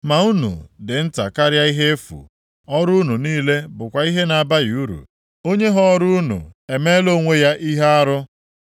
Ma unu dị nta karịa ihe efu. Ọrụ unu niile bụkwa ihe na-abaghị uru. Onye họọrọ unu emeela onwe ya ihe arụ.